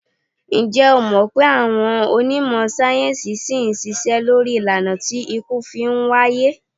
Ǹjẹ́ o mọ̀̀ pé àwọn onímọ̀ sáyẹ́ńsì ṣì ń ṣiṣẹ́ lórí ìlànà tí ikú fi ń wáyé?